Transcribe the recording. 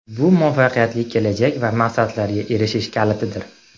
Bu muvaffaqiyatli kelajak va maqsadlarga erishish kalitidir.